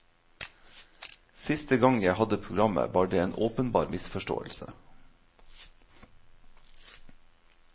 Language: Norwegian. Siste gang jeg hadde programmet var det en åpenbar misforståelse.